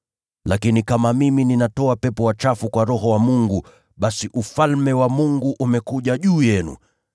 Lakini kama mimi ninatoa pepo wachafu kwa Roho wa Mungu, basi Ufalme wa Mungu umekuja juu yenu.